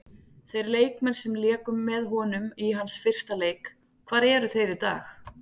Þeir leikmenn sem léku með honum í hans fyrsta leik, hvar eru þeir í dag?